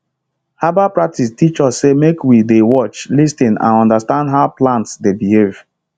herbal practice teach us say make we dey watch lis ten and understand how plants dey behave